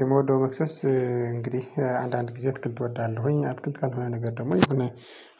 የምወደው መክሰስ እንግዲህ አንዳንድ ጊዜ አትክልት እወዳለሁኝ አትክልት ካልሆነ ነገር ደግሞ የሆነ